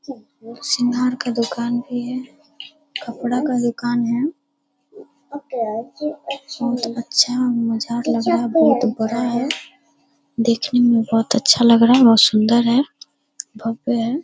शिंगार के दुकान भी है कपड़ा का दुकान है बहुत अच्छा मजार लग रहा बहुत बड़ा है देखने में बहुत अच्छा लग रहा है बहुत सुंदर है भव्य है।